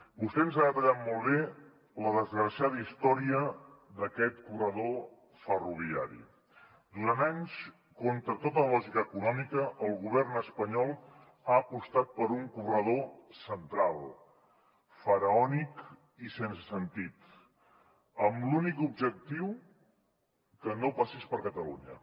vostè ens ha detallat molt bé la desgraciada història d’aquest corredor ferroviari durant anys contra tota lògica econòmica el govern espanyol ha apostat per un corredor central faraònic i sense sentit amb l’únic objectiu que no passés per catalunya